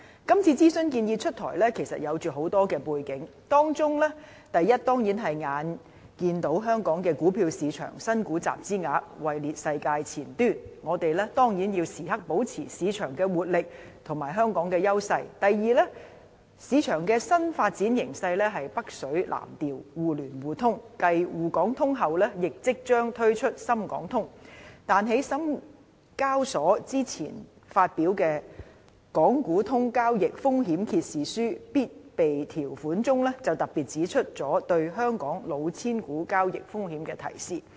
今次諮詢建議出台，其實是有很多背景的，當中第一點，當然是香港股票市場新股集資額位列世界前端，我們必須時刻保持市場活力和香港的優勢；第二，市場的新發展形勢是北水南調、互聯互通，繼"滬港通"外，亦即將推出"深港通"，但在深交所之前發表的《港股通交易風險揭示書必備條款》中，就特別指出了對香港"老千股"交易風險的提示。